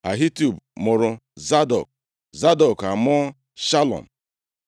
Ahitub mụrụ Zadọk, Zadọk amụọ Shalum.